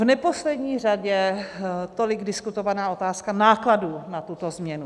V neposlední řadě tolik diskutovaná otázka nákladů na tuto změnu.